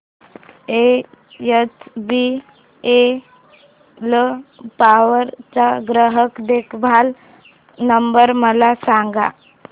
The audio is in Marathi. एचबीएल पॉवर चा ग्राहक देखभाल नंबर मला सांगा